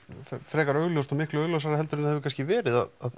frekar augljóst og miklu augljósara heldur en hefur verið að